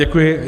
Děkuji.